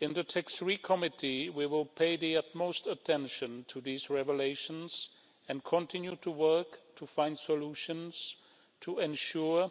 In the TAX3 Committee, we will pay the utmost attention to these revelations and continue to work to find solutions to ensure